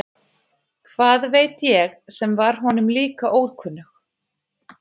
Hvað veit ég sem var honum líka ókunnug.